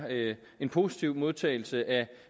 en positiv modtagelse af